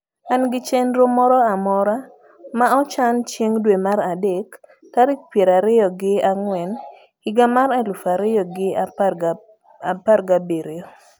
an gi chenro moro amora ma ochan chieng dwe mar adek tarik piero ariyo gi angwen higa mar elufu ariyo gi aparga birio